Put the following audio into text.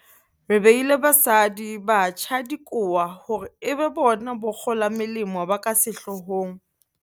Re beile basadi, batjha le dikowa hore e be bona bakgolamolemo ba ka sehlohong.